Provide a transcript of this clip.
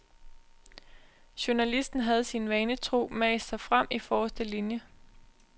Journalisten havde sin vane tro mast sig frem i forreste linje.